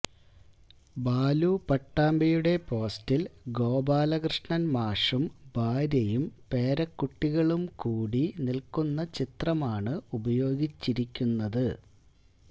ബാലു പട്ടാമ്പിയുടെ പോസ്റ്റില് ഗോപാലകൃഷ്ണന് മാഷും ഭാര്യയും പേരക്കുട്ടികളും കൂടി നില്ക്കുന്ന ചിത്രമാണ് ഉപയോഗിച്ചിരിക്കുന്നത്